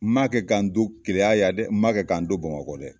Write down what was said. N ma kɛ k'an to keya yan dɛ! N ma kɛ k'an To bamakɔ dɛ!